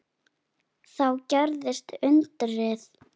Þá gerðist undrið.